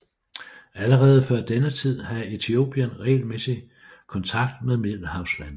Allerede før denne tid havde Etiopien regelmæssig kontakt med middelhavslandene